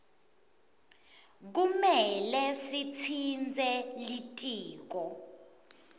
kumele sitsintse litiko